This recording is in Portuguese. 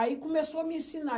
Aí começou a me ensinar.